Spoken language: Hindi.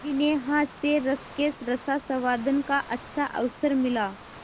जिन्हें हास्यरस के रसास्वादन का अच्छा अवसर मिला